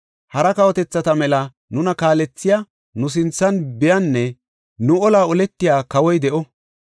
Hara kawotethata mela nuna kaalethiya, nu sinthan biyanne nu olaa oletiya kawoy de7o.”